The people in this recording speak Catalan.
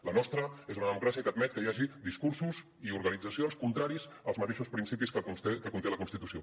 la nostra és una democràcia que admet que hi hagi discursos i organitzacions contraris als mateixos principis que conté la constitució